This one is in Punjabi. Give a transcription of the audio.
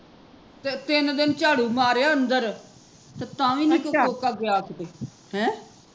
ਤੇ ਤਿੰਨ ਦਿਨ ਝਾੜੂ ਮਾਰਿਆ ਅੰਦਰ ਤੇ ਤਾਂ ਵੀ ਨੀ ਉਹ ਕੋਕਾ ਗਿਆ ਕਿਤੇ ਹੈਂ